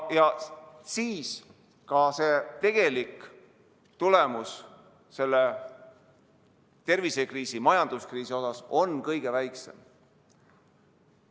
Siis ka see tegelik tulemus tervisekriisi, majanduskriisi suhtes on kõige väiksem.